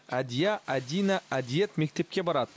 әдия әдина әдиет мектепке барады